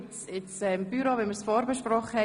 Wenn das so stimmt, dann lassen wir es so stehen.